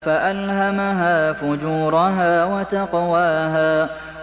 فَأَلْهَمَهَا فُجُورَهَا وَتَقْوَاهَا